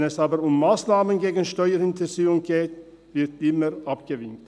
Wenn es aber um Massnahmen gegen Steuerhinterziehung geht, wird immer abgewinkt.